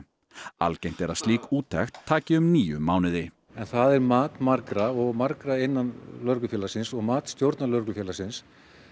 algengt er að slík úttekt taki um níu mánuði það er mat margra margra innan lögreglufélagsins og mat stjórnar Lögreglufélagsins